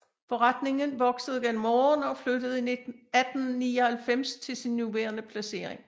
Forretningen voksede gennem årene og flyttede i 1899 til sin nuværende placering